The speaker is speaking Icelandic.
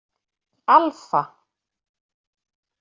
Alfa